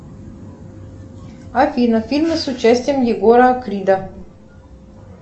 афина фильмы с участием егора крида